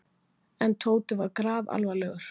En Tóti var grafalvarlegur.